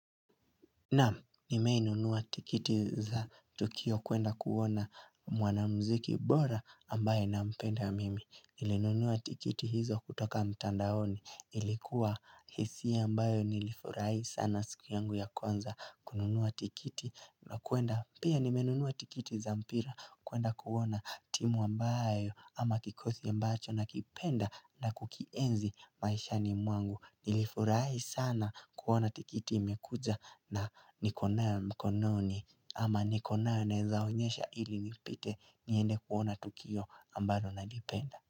Naam, nimei nunua tikiti za tukio kuenda kuona mwana mziki bora ambaye na mpenda mimi. Nilinunuua tikiti hizo kutoka mtandaoni. Ilikuwa hisia mbayo nilifurahi sana siku yangu ya kwanza kununua tikiti na kwenda. Pia nimenunuua tikiti za mpira kwenda kuona timu ambayo ama kikosi a mbacho na kipenda na kukienzi maisha ni mwangu. Nilifurahi sana kuona tikiti imekuja na nikonayo mkononi ama nikonayo naezaonyesha ili nipite niende kuona tukio ambalo nalipenda.